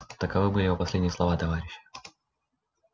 таковы были его последние слова товарищ